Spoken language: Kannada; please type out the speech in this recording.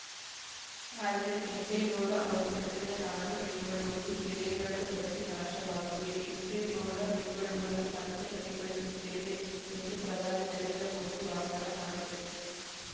ಆದರೆ ಕೆಂಪೇಗೌಡ ಅವರು ಕಟ್ಟಿದ ನಾಡು ಬೆಂಗಳೂರು ಕೆರೆಗಳು ಬತ್ತಿ ನಾಶವಾಗಿವೆ ಕೆಂಪೇಗೌಡ ಬೆಂಗಳೂರನ್ನು ಮತ್ತೆ ಮರುಕಳಿಸುತ್ತೇವೆ ಎಂದು ಪ್ರಧಾನಿ ನರೇಂದ್ರ ಮೋದಿ ವಾಗ್ದಾನ ಮಾಡಿದರು